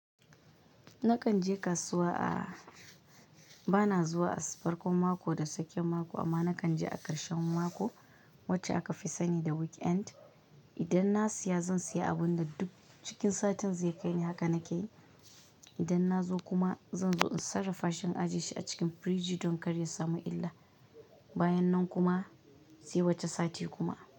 Nakan je kasuwa a bana zuwa Asabar ko mako da tsakiyan mako, amma nakan je a ƙarshen mako, wacce aka fi sani da weekend. Idan na siya zan siya abun da duk cikin satin zai kai ni haka nake yi. Idan na zo kuma zan zo in sarrafa shi in ajiye shi a cikin firiji don kar ya samu illa. Bayan nan kuma, sai wata sati kuma.